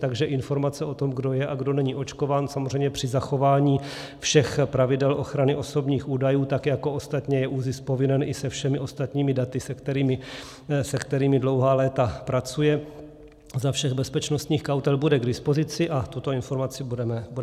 Takže informace o tom, kdo je a kdo není očkován, samozřejmě při zachování všech pravidel ochrany osobních údajů, tak jako ostatně je ÚZIS povinen i se všemi ostatními daty, se kterými dlouhá léta pracuje za všech bezpečnostních kautel, bude k dispozici a tuto informaci budeme mít.